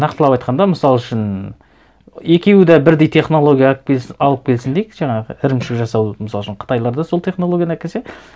нақтылап айтқанда мысал үшін екеуі де бірдей технология алып алып келсін дейік жаңағы ірімшік жасаудың мысал үшін қытайлар да сол технологияны әкелсе